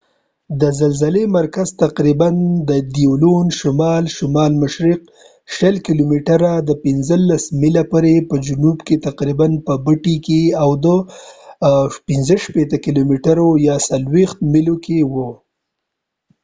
د زلزلې مرکز تقریباً د دیلون شمال- شمال شرق 20 کیلومترۍ 15 میله کې او د butte په جنوب کې تقریباً په 65 کیلومترۍ 40 میلو کې وه